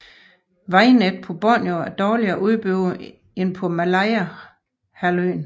Vejnettet på Borneo er dårligere udbygget end på Malayahalvøen